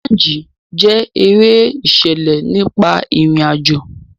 Jumanji jẹ́ eré ìṣẹ̀lẹ̀ nípa ìrìn àjò.